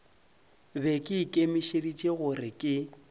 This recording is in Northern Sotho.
be ke ikemišeditše gore ke